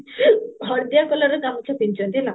ହଳଦିଆ colorର ଗାମୁଛା ପିନ୍ଧିଚନ୍ତି ହେଲା